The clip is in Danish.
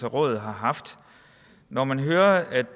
rådet har haft når man hører at